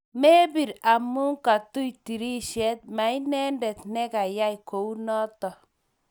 Mebir amu katuy tirishet, mainendet negayey kunoto